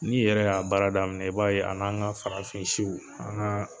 N'i yɛrɛ y'a baara daminɛ i b'a ye a ni an ka farafinsiw an ka